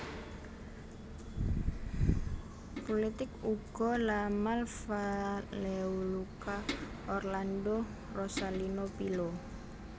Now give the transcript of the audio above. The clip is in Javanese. Pulitik Ugo La Malfa Leoluca Orlando Rosalino Pilo